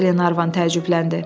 Qlenarvan təəccübləndi.